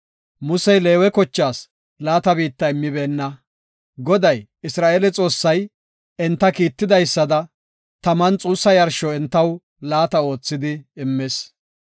Musey Leewe kochaas laata biitta immibeenna. Goday, Isra7eele Xoossay, entaw kiitidaysada taman xuussa yarsho entaw laata oothidi immis.